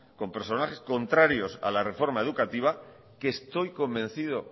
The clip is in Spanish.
con personajes contrarios a la reforma educativa que estoy convencido